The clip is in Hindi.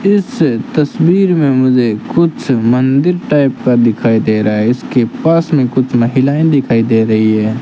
इस तस्वीर में मुझे कुछ मंदिर टाइप का दिखाई दे रहा है इसके पास में कुछ महिलाएं दिखाई दे रही है।